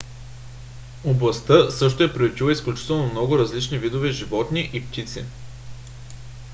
областта също е приютила изключително много различни видове животни и птици